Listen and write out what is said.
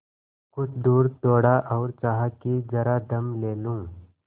कुछ दूर दौड़ा और चाहा कि जरा दम ले लूँ